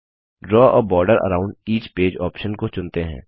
द्रव a border around each page option को चुनते हैं